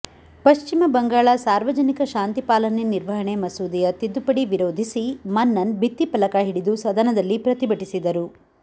ಪಶ್ಚಿಮ ಬಂಗಾಳ ಸಾರ್ವಜನಿಕ ಶಾಂತಿ ಪಾಲನೆ ನಿರ್ವಹಣೆ ಮಸೂದೆಯ ತಿದ್ದುಪಡಿ ವಿರೋಧಿಸಿ ಮನ್ನನ್ ಭಿತ್ತಿಫಲಕ ಹಿಡಿದು ಸದನದಲ್ಲಿ ಪ್ರತಿಭಟಿಸಿದರು